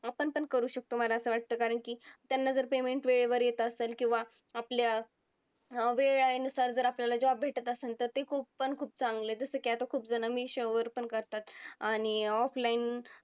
आपण पण करू शकतो मला असं वाटतं कारण की त्यांना जर payment वेळेवर येत असेल किंवा आपल्या वेळेनुसार जर आपल्याला job भेटत असंन तर ते खूप पण खूप चांगलं आहे. जसं की आता खूपजणं मी पण करतात. आणि offline